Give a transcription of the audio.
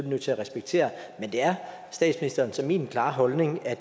nødt til at respektere men det er statsministerens og min klare holdning at